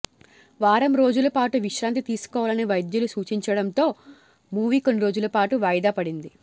వారం రోజుల పాటు విశ్రాంతి తీసుకోవాలని వైద్యులు సూచించడంతో మూవీ కొన్నిరోజుల పాటు వాయిదా పడింది